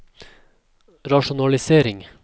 rasjonalisering